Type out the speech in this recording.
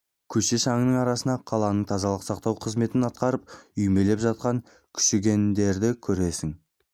көше шаңының арасында қаланың тазалық сақтау қызметін атқарып үймелеп жатқан күшігендерді көресің